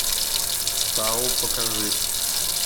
тау покажи